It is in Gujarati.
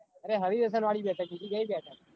અરે હરીરોપ્સન વળી બેઠક બીજી કઈ બેઠક